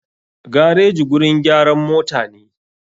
Gareji gurin gyaran motane.